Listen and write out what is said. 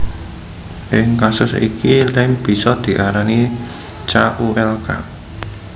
Ing kasus iki lem bisa diarani ca u lk